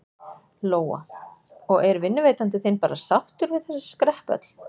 Lóa: Og er vinnuveitandi þinn bara sáttur við þessi skrepp öll?